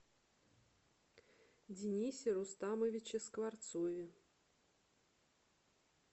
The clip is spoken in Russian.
денисе рустамовиче скворцове